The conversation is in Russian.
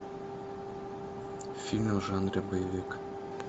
фильмы в жанре боевик